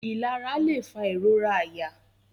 Ilara lẹ fa irora àyà.